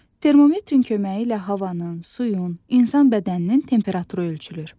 Termometrin köməyi ilə havanın, suyun, insan bədəninin temperaturu ölçülür.